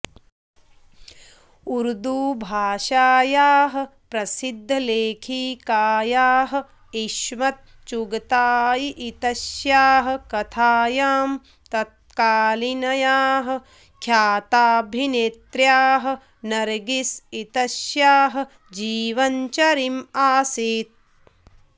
उर्द्दू भाषायाः प्रसिद्धलेखिकायाः इस्मत् चुगतायी इत्यस्याः कथायां तत्कालीनयाः ख्याताभिनेत्र्याः नर्गिस् इत्यस्याः जीवनचरिम् आसीत्